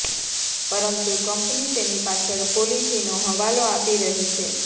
પરંતુ કંપની તેની પાછળ પોલીસીનો હવાલો આપી રહી છે